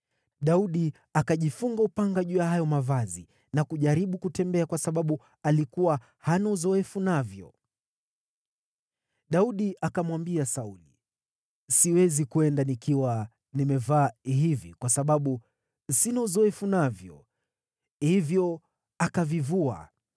Daudi akajifunga upanga juu ya hayo mavazi na kujaribu kutembea kwa sababu alikuwa hana uzoefu navyo. Daudi akamwambia Sauli, “Siwezi kwenda nikiwa nimevaa hivi, kwa sababu sina uzoefu navyo.” Hivyo akavivua.